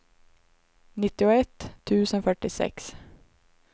nittioett tusen fyrtiosex